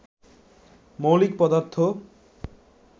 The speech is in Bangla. মৌলিক পদার্থ